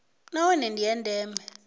na one ndi a ndeme